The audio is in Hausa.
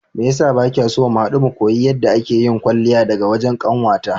Meyasa bakiso mu hadu mu koyi yadda ake yin kwalliya daga wajen kanwata?